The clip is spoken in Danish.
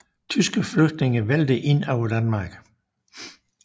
Tyske flygtninge vælter ind over Danmark